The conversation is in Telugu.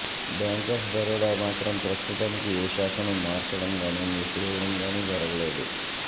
బ్యాంక్ ఆఫ్ బరోడా మాత్రం ప్రస్తుతానికి ఏ శాఖను మార్చడంగానీ మూసేవేయడం గానీ జరగలేదు